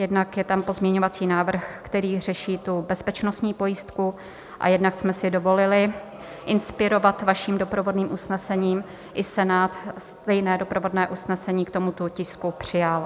Jednak je tam pozměňovací návrh, který řeší tu bezpečnostní pojistku, a jednak jsme si dovolili inspirovat vaším doprovodným usnesením - i Senát stejné doprovodné usnesení k tomuto tisku přijal.